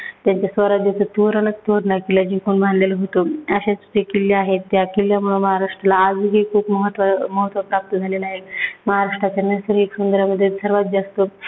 त्यांच्या स्वराज्याचं तोरणचं तोरणा किल्ला जिंकून बांधलेलं होतं. अशे ते किल्ले आहेत. त्या किल्ल्यामुळे आजही महाराष्ट्रला खूप महत्व महत्व प्राप्त झालेलं आहे.